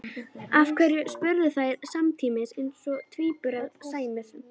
Af hverju? spurðu þær samtímis eins og tvíburum sæmir.